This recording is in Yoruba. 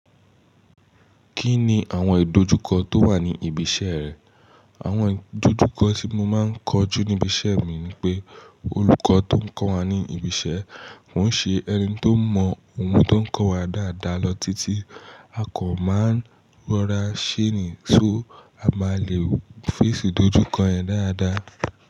Kí ni àwọn ìdojúkọ tó wà ní ibi iṣẹ́ rẹ? Àwọn ìdojúkọ tí mo máa ń kojú níbi iṣẹ́ mi ni pé olùkọ́ tó ń kọ́ wa ní ibi iṣẹ́, kò ń ṣe ẹni tó mọ ohun tó ń kọ́ wa dáadáa lọ títí, a kàn máa ń rọra ṣeé ni, so a máa le face ìdojúkọ yẹn dáadáa.